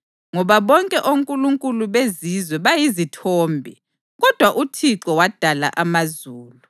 Ngoba bonke onkulunkulu bezizwe bayizithombe; kodwa uThixo wadala amazulu.